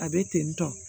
A bɛ ten tɔ